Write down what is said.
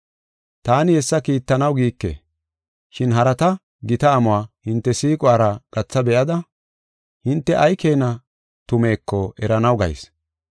Taani hessa kiittanaw giike. Shin harata gita amuwa hinte siiquwara gatha be7ada, hinte ay keena tumeeko eranaw gayis.